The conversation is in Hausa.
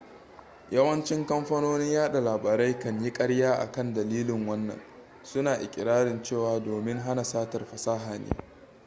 yawanci kamfanonin yaɗa labarai kan yi ƙarya akan dalilin wannan suna iƙirarin cewa domin hana satar fasaha ne